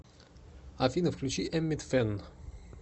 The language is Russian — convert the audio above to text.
афина включи эммит фэн